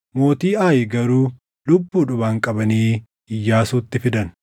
Mootii Aayi garuu lubbuudhumaan qabanii Iyyaasuutti fidan.